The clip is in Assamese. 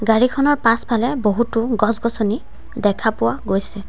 গাড়ীখনৰ পাছফালে বহুতো গছ-গছনি দেখা পোৱা গৈছে।